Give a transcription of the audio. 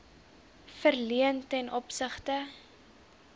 verleen ten opsigte